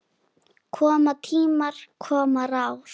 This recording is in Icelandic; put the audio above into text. Koma tímar, koma ráð.